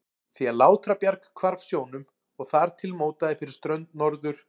því að Látrabjarg hvarf sjónum og þar til mótaði fyrir strönd Norður-